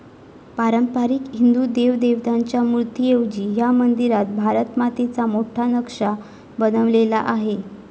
पारंपारिक हिंदू देवदेवतांच्या मूर्तीऐवजी ह्या मंदिरात भारत मातेचा मोठा नकाशा बनवलेला आहे.